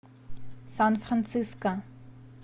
сан франциско